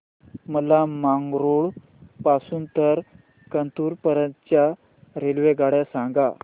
मला मंगळुरू पासून तर कन्नूर पर्यंतच्या रेल्वेगाड्या सांगा